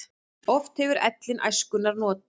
Oft hefur ellin æskunnar not.